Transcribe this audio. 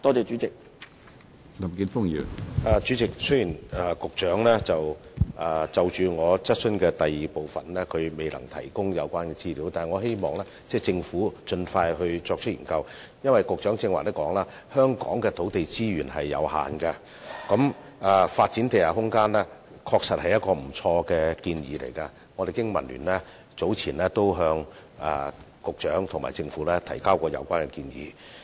主席，雖然局長未能就我所提質詢的第二部分提供資料，但我希望政府能盡快作出研究，因為正如局長剛才所說，香港的土地資源有限，發展地下空間確實是不錯的建議，而經民聯早前已向局長和政府提出有關建議。